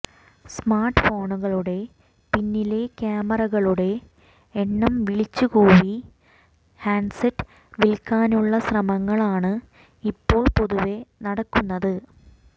smart ഫോണുകളുടെ പിന്നിലെ ക്യാമറകളുടെ എണ്ണം വിളിച്ചുകൂവി ഹാന്ഡ്സെറ്റ് വില്ക്കാനുള്ള ശ്രമങ്ങളാണ് ഇപ്പോൾ പൊതുവെ നടക്കുന്നത്